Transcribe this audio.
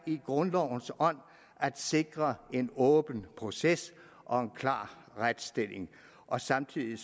i grundlovens ånd at sikre en åben proces og en klar retsstilling og samtidig